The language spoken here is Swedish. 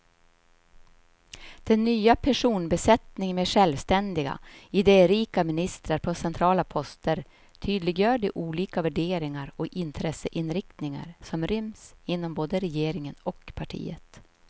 Den nya personbesättningen med självständiga, idérika ministrar på centrala poster tydliggör de olika värderingar och intresseinriktningar som ryms inom både regeringen och partiet.